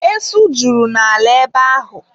Esu juru n'ala ebe ahụ.